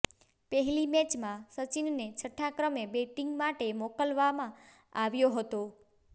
પહેલી મેચમાં સચિનને છઠ્ઠા ક્રમે બેટિંગ માટે મોકલવામાં આવ્યો હતો